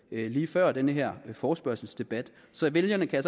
lige før den her forespørgselsdebat så vælgerne kan